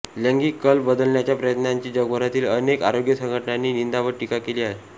लैंगिक कल बदलण्याच्या प्रयत्नांची जगभरातील अनेक आरोग्य संघटनांनी निंदा व टीका केली आहे